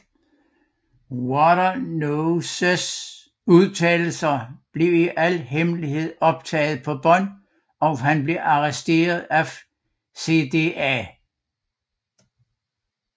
Waternooses udtalelse bliver i al hemmelighed optaget på bånd og han bliver arresteret af CDA